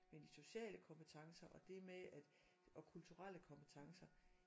Men de sociale kompetencer og det med at og kulturelle kompetencer